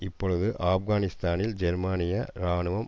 இப்பொழுது ஆப்கானிஸ்தானில் ஜெர்மனிய இராணுவம்